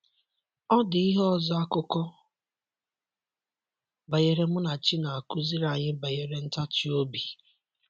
Ọ dị ihe ọzọ akụkọ banyere Munachi na - akụziri anyị banyere ntachi obi.